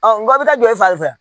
nga i bɛ taa jɔ e fari fɛ